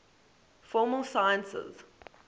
formal sciences